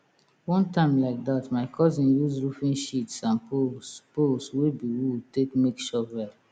one time like dat my cousin use roofing sheets and poles poles wey be wood take make shovel